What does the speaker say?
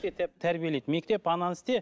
тәрбиелейді мектеп ананы істе